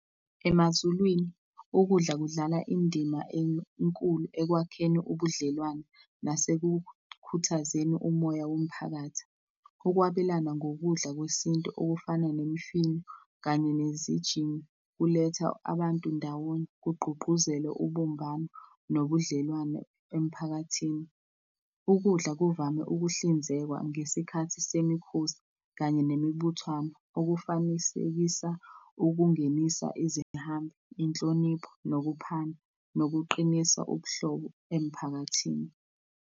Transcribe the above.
EmaZulwini, ukudla kudlala indima enkulu ekwakheni ubudlelwane nasekukhuthazeni umoya womphakathi. Ukwabelana ngokudla kwesintu okufana nemifino kanye nezijingi, kuletha abantu ndawonye, kugqugquzelwe ubumbano nobudlelwane emphakathini. Ukudla kuvame ukuhlinzekwa ngesikhathi semikhosi kanye nemibuthwano okufanisekisa ukungenisa izihambi, inhlonipho nokuphana nokuqinisa ubuhlobo emiphakathini.